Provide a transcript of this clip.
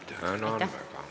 Tänan väga!